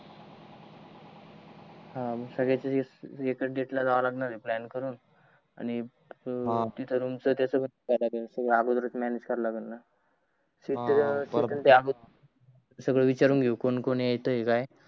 अं मग संगड्यांच एकास डेट ला जाव लागणार आहे प्लान करून आणि तित रूम च अगोदरस म्यानेज कर लागण सगड विचारून घेऊ कोण कोण येताय काय काय